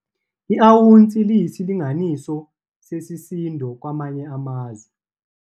I-awunsi liyisilinganiso sesisindo kwamanye amazwe.